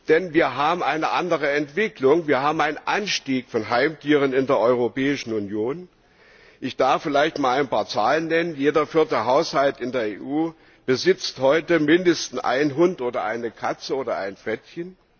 Denn wir haben eine andere Entwicklung, wir haben eine Zunahme von Heimtieren in der Europäischen Union. Ich darf vielleicht einmal ein paar Zahlen nennen Jeder vierte Haushalt in EU besitzt heute mindestens einen Hund, eine Katze oder ein Frettchen.